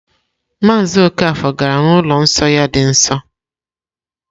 Maazị Okafor gara n'ụlọ nsọ ya dị nsọ.